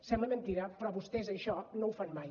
sembla mentida però vostès això no ho fan mai